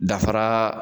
Dafara